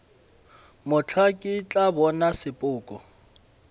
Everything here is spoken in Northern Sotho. mohla ke tla bona sepoko